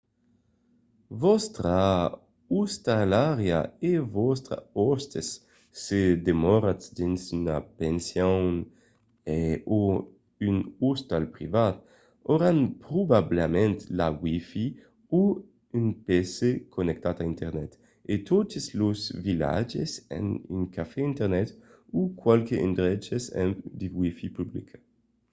vòstra ostalariá o vòstres òstes se demoratz dins una pension o un ostal privat auràn probablament la wifi o un pc connectat a internet e totes los vilatges an un cafè internet o qualques endreches amb de wifi publica